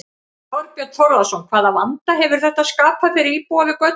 Þorbjörn Þórðarson: Hvaða vanda hefur þetta skapað fyrir íbúa við götuna?